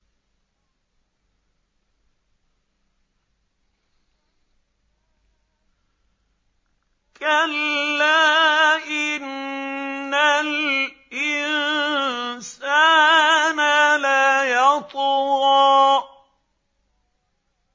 كَلَّا إِنَّ الْإِنسَانَ لَيَطْغَىٰ